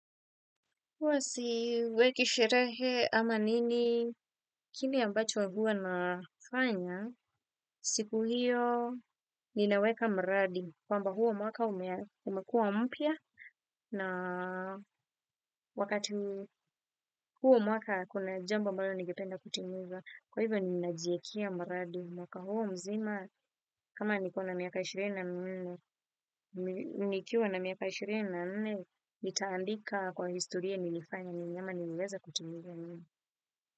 Huwa siweki sherehe ama nini kile ambacho huwa nafanya siku hiyo ninaweka mradi kwamba huo mwaka umekua mpya na wakati huu mwaka kuna jambo ambalo ningeenda kutimizaa kwa hivyo ninajiekea mradi mwaka huu mzima kama nilikuwa na miaka ishirini na miwili nikiwa na miaka ishirini na nne nitaandika kwa historia nilifanya nini ama niliweza kutimiza nini.